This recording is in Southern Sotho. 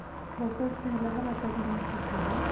bososela ha ba tadimisisa ba